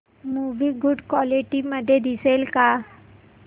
movie good quality मध्ये दिसेल का